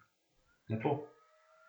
Lepo.